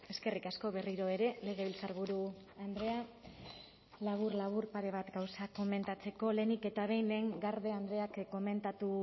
eskerrik asko berriro ere legebiltzarburu andrea labur labur pare bat gauza komentatzeko lehenik eta behin lehen garde andreak